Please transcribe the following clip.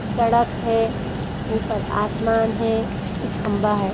सड़क है ऊपर आसमान है एक खंभा है।